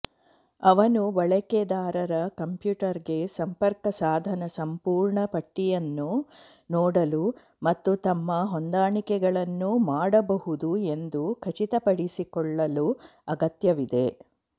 ಅವನು ಬಳಕೆದಾರರ ಕಂಪ್ಯೂಟರ್ಗೆ ಸಂಪರ್ಕ ಸಾಧನ ಸಂಪೂರ್ಣ ಪಟ್ಟಿಯನ್ನು ನೋಡಲು ಮತ್ತು ತಮ್ಮ ಹೊಂದಾಣಿಕೆಗಳನ್ನು ಮಾಡಬಹುದು ಎಂದು ಖಚಿತಪಡಿಸಿಕೊಳ್ಳಲು ಅಗತ್ಯವಿದೆ